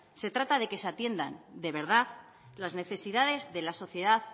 se trata de que se atiendan de verdad las necesidades de la sociedad